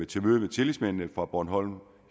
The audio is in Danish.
til møde med tillidsmændene fra bornholm